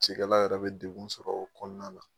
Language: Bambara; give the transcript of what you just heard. Cikɛla yɛrɛ bɛ denw sɔrɔ o kɔnɔna la